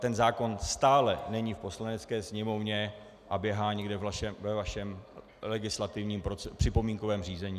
Ten zákon stále není v Poslanecké sněmovně a běhá někde ve vašem legislativním připomínkovém řízení.